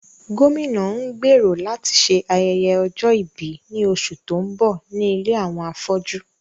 Gómìnà ń gbèrò láti ṣe ayẹyẹ ọjọ́ ìbí ní oṣù tó ń bọ̀ ní ilé àwọn afọ́jú